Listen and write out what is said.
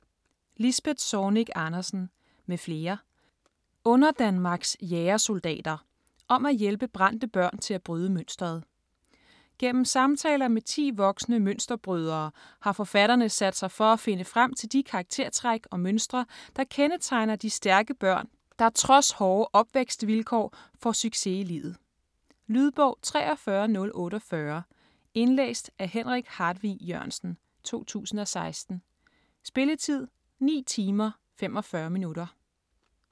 Zornig Andersen, Lisbeth m.fl. : Underdanmarks jægersoldater: om at hjælpe brændte børn til at bryde mønsteret Gennem samtaler med ti voksne mønsterbrydere har forfatterne sat sig for at finde frem til de karaktertræk og mønstre der kendetegner de stærke børn der trods hårde opvækstvilkår får succes i livet. Lydbog 43048 Indlæst af Henrik Hartvig Jørgensen, 2016. Spilletid: 9 timer, 45 minutter.